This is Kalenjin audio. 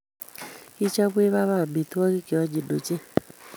Kichopwech baba amitwogik cheonyiny ochei